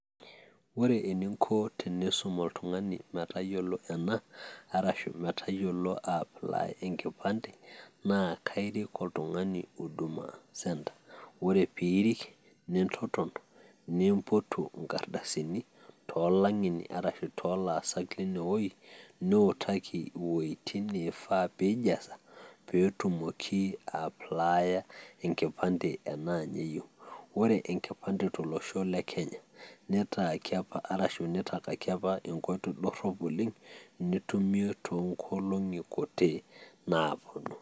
Ore eninko teniisum oltung'ani metayiolo ena, arashu metayiolo aia apply enkipande, naa aairik oltung'ani huduma centre ore piirik nintoton nimpotu inkardasini too lang'eni arashu too laasak leinewoji niutaki iwojiting' neifaa peyiee ijaza petumoki aia apply enkipande tenaa ninye eyieu, ore enkipande to losho le kenya neitaaki apa arashu neitakaki apa enkoitoi dorrop oleng' nitumie too nkolong'i kutik naaponu.